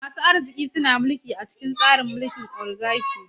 Masu arziki suna mulki a cikin tsarin mulki na oligaki.